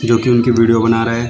जो कि उनकी वीडियो बना रहा है।